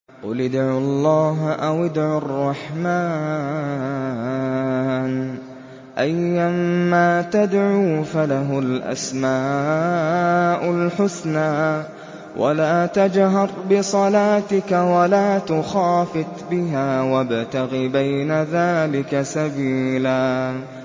قُلِ ادْعُوا اللَّهَ أَوِ ادْعُوا الرَّحْمَٰنَ ۖ أَيًّا مَّا تَدْعُوا فَلَهُ الْأَسْمَاءُ الْحُسْنَىٰ ۚ وَلَا تَجْهَرْ بِصَلَاتِكَ وَلَا تُخَافِتْ بِهَا وَابْتَغِ بَيْنَ ذَٰلِكَ سَبِيلًا